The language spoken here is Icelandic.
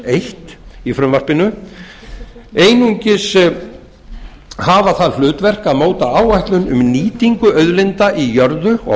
eitt í frumvarpinu einungis hafa það hlutverk að móta áætlun um nýtingu auðlinda í jörðu og